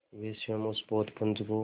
वे स्वयं उस पोतपुंज को